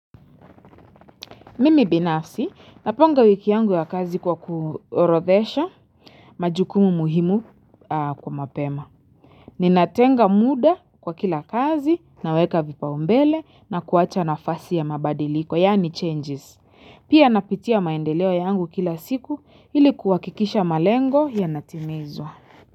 Mimi binafsi, napanga wiki yangu ya kazi kwa kuorodhesha majukumu muhimu kwa mapema. Ninatenga muda kwa kila kazi, naweka vipaumbele na kuacha nafasi ya mabadiliko, yaani changes. Pia napitia maendeleo yangu kila siku ili kuhakikisha malengo yanatimizwa.